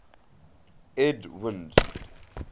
edwind